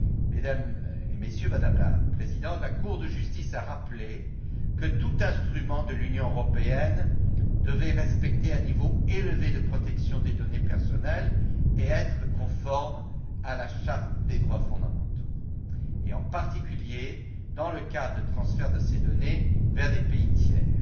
Mesdames et Messieurs, Madame la Présidente, la Cour de justice a rappelé que tout instrument de l'Union européenne devait respecter un niveau élevé de protection des données personnelles et être conforme à la charte des droits fondamentaux, en particulier lorsque ces données sont transférées vers des pays tiers.